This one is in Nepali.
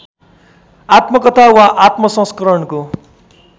आत्मकथा वा आत्मसंस्मरणको